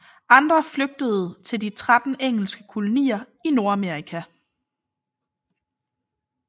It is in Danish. Andre flygtede til de 13 engelske kolonier i Nordamerika